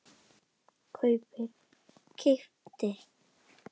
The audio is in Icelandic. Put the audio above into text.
kaupir- keypti